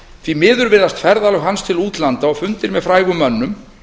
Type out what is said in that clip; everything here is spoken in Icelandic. því miður virðast ferðalög hans til útlanda og fundir með frægum mönnum